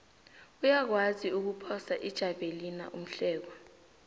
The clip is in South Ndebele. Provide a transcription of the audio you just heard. uyakwazi ukuphosa ijavelina umhlekwa